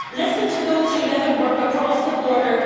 Listen to those who live and work across the border.